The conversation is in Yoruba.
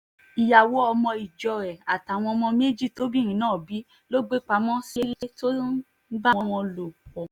ìyàwó ọmọ ìjọ ẹ̀ àtàwọn ọmọ méjì tóbìnrin náà bí ló gbé pamọ́ sílẹ̀ tó ń bá wọn lò pọ̀